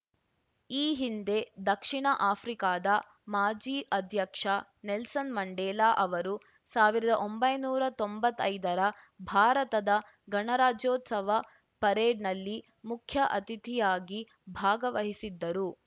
ಈ ಹಿಂದೆ ದಕ್ಷಿಣ ಆಫ್ರಿಕಾದ ಮಾಜಿ ಅಧ್ಯಕ್ಷ ನೆಲ್ಸನ್‌ ಮಂಡೇಲಾ ಅವರು ಸಾವಿರದ ತೊಂಬತ್ತೈದರ ಭಾರತದ ಗಣರಾಜ್ಯೋತ್ಸವ ಪರೇಡ್‌ನಲ್ಲಿ ಮುಖ್ಯ ಅತಿಥಿಯಾಗಿ ಭಾಗವಹಿಸಿದ್ದರು